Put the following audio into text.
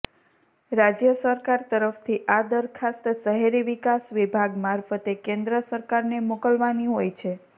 રાજ્ય સરકાર તરફથી આ દરખાસ્ત શહેરી વિકાસ વિભાગ મારફતે કેન્દ્ર સરકારને મોકલવાની હોય છે